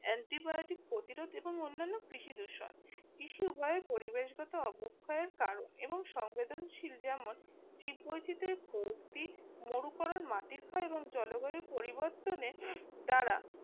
antibiotic প্রতিরোধ এবং অন্যান্য কৃষি দূষণ কৃষি উভয়ের পরিবেশগত অবক্ষয়ের কারণ এবং সংবেদনশীল যেমন জীব বৈচিত্রের মাটির হয় এবং জলবায়ু পরিবর্তনে দ্বারা